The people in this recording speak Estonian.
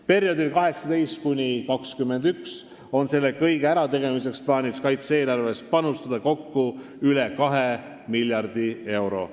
Perioodil 2018–2021 on plaanis selle kõige tegemiseks panustada kaitse-eelarves kokku üle kahe miljardi euro.